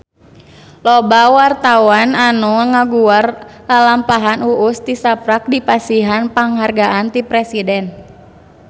Loba wartawan anu ngaguar lalampahan Uus tisaprak dipasihan panghargaan ti Presiden